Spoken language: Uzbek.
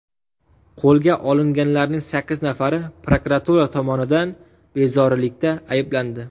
Qo‘lga olinganlarning sakkiz nafari prokuratura tomonidan bezorilikda ayblandi.